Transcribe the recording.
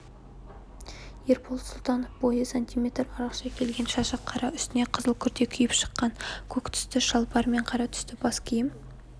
ербол сұлтановтың бойы сантиметр арықша келген шашы қара үстіне қызыл күрте киіп шыққан көк түсті шалбар мен қара түсті бас киім